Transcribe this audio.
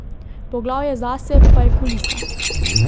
Poglavje zase pa je kulisa.